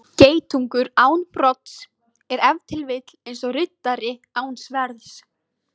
Geitungur án brodds er ef til vill eins og riddari án sverðs.